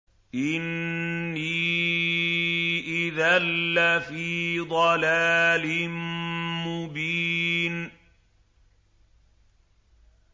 إِنِّي إِذًا لَّفِي ضَلَالٍ مُّبِينٍ